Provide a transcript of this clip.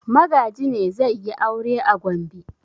Magaji ne zai yi aure a Gombe?